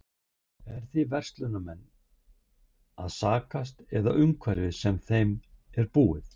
Er við verslunarmenn að sakast eða umhverfið sem þeim er búið?